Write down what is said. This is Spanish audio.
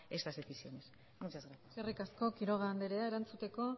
esas decisiones muchas gracias eskerrik asko quiroga andrea erantzuteko